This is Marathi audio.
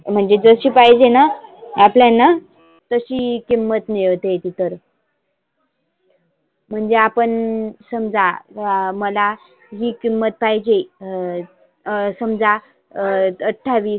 म्हणजे जशी पाहिजेना आपल्यांना तशी किंमत मिळते तिथं तर. म्हणजे आपण समजा मला ही किमत पाहीजे अं समजा अं अठावीस.